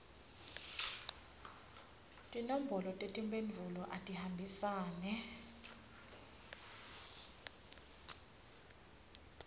tinombolo tetimphendvulo atihambisane